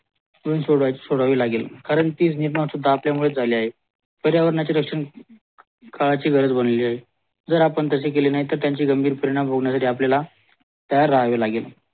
सोडावी लागेल कारण ती निर्माण आपल्यामुळेच झाले आहे पर्यावरण रक्षण कराची गरज बनले आहे जर आपण ताशे केले नाही त्यांची गंबीर परिणाम भोगण्या साठी आपल्याला तैयार राहावे लागेल